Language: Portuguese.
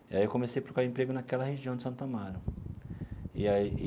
E aí eu comecei a procurar emprego naquela região de Santo Amaro e aí.